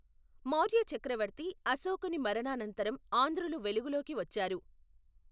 మౌర్య చక్రవర్తి అశోకుని మరణానంతరం ఆంధ్రులు వెలుగులోకి వచ్చారు.